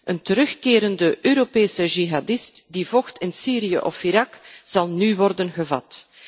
Een terugkerende Europese jihadist die vocht in Syrië of Irak, zal nu worden gevat.